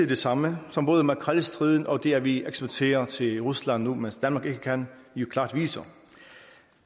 de samme som både makrelstriden og det at vi eksporterer til rusland nu mens danmark ikke kan jo klart viser